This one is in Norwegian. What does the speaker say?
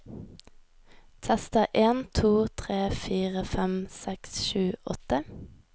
Tester en to tre fire fem seks sju åtte